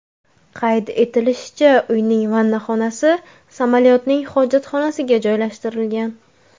Qayd etilishicha, uyning vannaxonasi samolyotning hojatxonasiga joylashtirilgan.